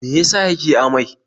Me ya sa yake amai?